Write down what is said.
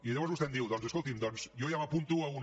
i llavors vostè em diu doncs escolti’m doncs jo ja m’a punto a una